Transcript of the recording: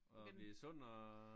Og blive sund og?